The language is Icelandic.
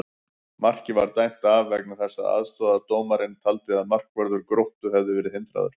Markið var dæmt af vegna þess að aðstoðardómarinn taldi að markvörður Gróttu hefði verið hindraður!